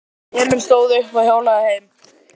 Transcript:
Emil stóð upp og hjólaði heim.